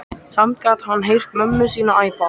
Samt gat hann heyrt mömmu sína æpa.